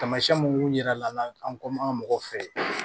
Tamasiyɛn mun yira la an kɔ an ka mɔgɔw fɛ ye